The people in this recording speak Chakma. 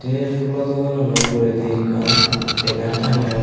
ey pulo doganano uguredi ekkan benar tangeyon.